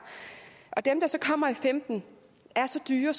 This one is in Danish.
og dem der så kommer i femten er så dyre